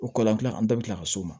O kɔlɔlɔn tigɛ an bɛɛ bɛ tila ka s'o ma